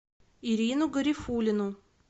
ирину гарифуллину